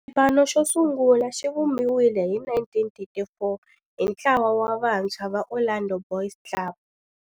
Xipano xosungula xivumbiwile hi 1934 hi ntlawa wa vantshwa va Orlando Boys Club.